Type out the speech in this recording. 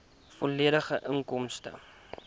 volledige inkomstestaat